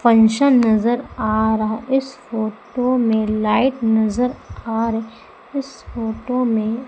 Function नजर आ रहा है इस फोटो में लाइट नजर आ इस फोटो में।